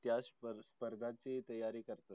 त्या स्पर्धा स्पर्धाची तयारी करतो.